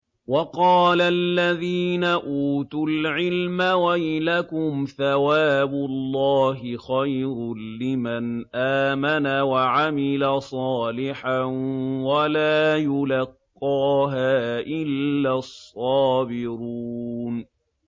وَقَالَ الَّذِينَ أُوتُوا الْعِلْمَ وَيْلَكُمْ ثَوَابُ اللَّهِ خَيْرٌ لِّمَنْ آمَنَ وَعَمِلَ صَالِحًا وَلَا يُلَقَّاهَا إِلَّا الصَّابِرُونَ